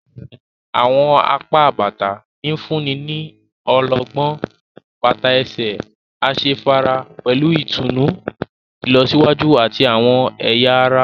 Awọn apá bàtà nfunni ní ọlọgbọn, bàtà ẹsẹ asefara pẹlú ìtùnú ilọsiwaju ati awọn ẹya ará